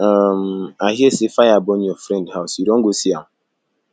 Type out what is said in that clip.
um i hear say fire burn your friend house you don go see am